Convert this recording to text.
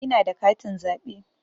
Ina da katin zaɓe.